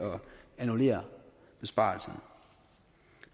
annullere besparelserne